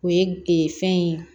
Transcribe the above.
O ye ee fɛn ye